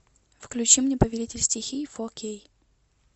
включи мне повелитель стихий фор кей